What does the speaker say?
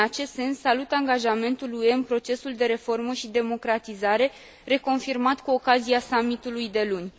În acest sens, salut angajamentul UE în procesul de reformă și democratizare, reconfirmat cu ocazia summitului de luni.